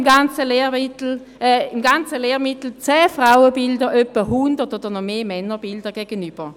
So stehen im ganzen Lehrmittel 10 Frauenbilder etwa 100 Männerbilder gegenüber.